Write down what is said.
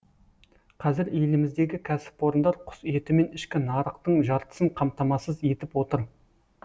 қазір еліміздегі кәсіпорындар құс етімен ішкі нарықтың жартысын қамтамасыз етіп отыр